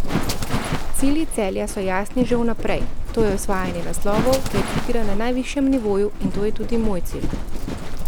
Cilji Celja so jasni že v naprej, to je osvajanje naslovov ter igra na najvišjem nivoju in to je tudi moj cilj.